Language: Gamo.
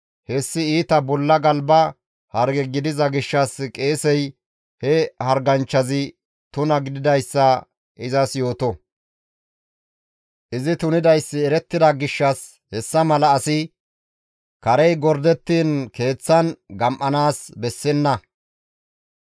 hessi iita bolla galba harge gidiza gishshas qeesey he harganchchazi tuna gididayssa izas yooto; izi tunidayssi erettida gishshas hessa mala asi karey gordettiin keeththan gam7anaas bessenna.